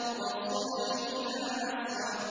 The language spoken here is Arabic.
وَالصُّبْحِ إِذَا أَسْفَرَ